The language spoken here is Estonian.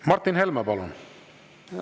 Martin Helme, palun!